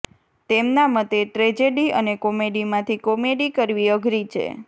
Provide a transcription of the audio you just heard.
તેમના મતે ટ્રેજેડી અને કોમેડીમાંથી કોમેડી કરવી અઘરી છે